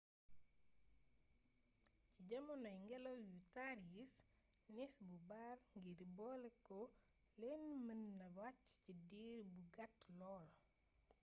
ci jamanoy ngélaw yu tàr yi nees bu bari ngir boloké leen mën naa wacc ci diir bu gàtt lool